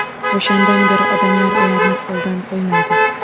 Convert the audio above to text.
O‘shandan beri odamlar ularni qo‘ldan qo‘ymaydi.